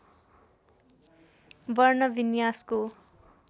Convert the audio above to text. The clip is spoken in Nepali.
वर्ण विन्यासको